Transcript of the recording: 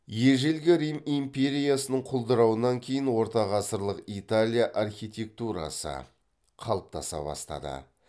ежелгі рим империясының құлдырауынан кейін ортағасырлық италия архитектурасы қалыптаса бастады